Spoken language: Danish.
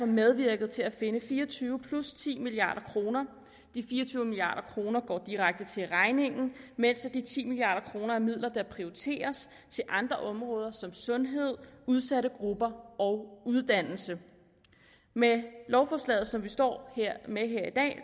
medvirket til at finde fire og tyve plus ti milliard kroner de fire og tyve milliard kroner går direkte til regningen mens de ti milliard kroner er midler der prioriteres til andre områder som sundhed udsatte grupper og uddannelse med lovforslaget som vi står med